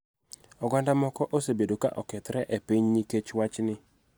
Oganda moko osebedo ka okethore e piny nikech wachni.